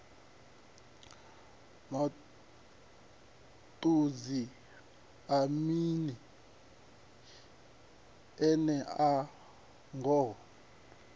maṱudzi a mini enea ngoho